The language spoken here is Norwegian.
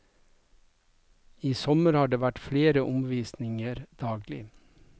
I sommer har det vært flere omvisninger daglig.